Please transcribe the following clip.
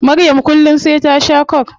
Maryam kullum sai ta shaa coke